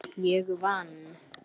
Ég vann!